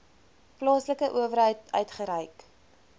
plaaslike owerheid uitgereik